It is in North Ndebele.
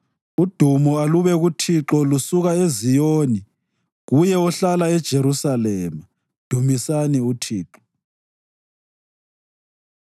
Udumo alube uThixo lusuka eZiyoni, kuye ohlala eJerusalema. Dumisani uThixo.